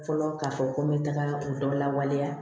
Fɔlɔ k'a fɔ ko n bɛ taga u dɔn lawaleya